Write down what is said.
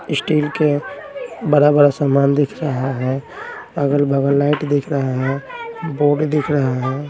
Steel के बड़ा-बड़ा सामान दिख रहा हैं अगल-बगल लाइट दिख रहा हैं बोर्ड दिख रहा हैं।